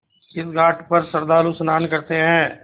इस घाट पर श्रद्धालु स्नान करते हैं